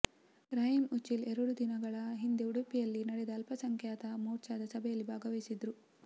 ರಹೀಂ ಉಚ್ಚಿಲ್ ಎರಡು ದಿನಗಳ ಹಿಂದೆ ಉಡುಪಿಯಲ್ಲಿ ನಡೆದ ಅಲ್ಪಸಂಖ್ಯಾತ ಮೋರ್ಚದ ಸಭೆಯಲ್ಲಿ ಭಾಗವಹಿಸಿದ್ರು